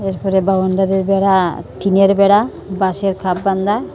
এরপরে বাউন্ডারির বেড়া টিনের বেড়া বাঁশের খাট বান্ধা--